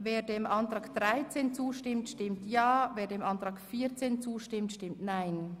Wer dem Antrag 13 zustimmt, stimmt Ja, wer den Antrag 14 vorzieht, stimmt Nein.